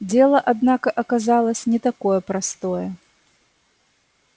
дело однако оказалось не такое простое